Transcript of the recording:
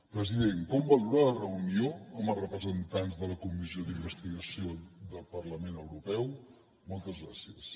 president com valora la reunió amb els representants de la comissió d’investigació del parlament europeu moltes gràcies